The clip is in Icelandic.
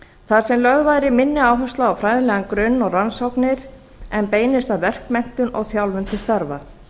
þar sem lögð væri minni áhersla á fræðilegan grunn og rannsóknir en beinist að verkmenntun og þjálfun til starfa